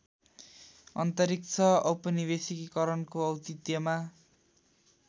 अन्तरिक्ष औपनिवेशीकरणको औचित्यमा